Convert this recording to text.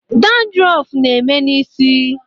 Dandrọf na-eme n'isi.